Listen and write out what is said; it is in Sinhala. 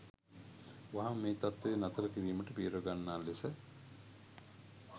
වහාම මේ තත්ත්වය නතර කිරීමට පියවර ගන්නා ලෙස